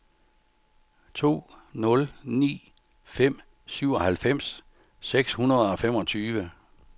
to nul ni fem syvoghalvfems seks hundrede og femogtyve